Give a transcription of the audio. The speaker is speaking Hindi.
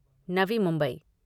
नवी मुंबई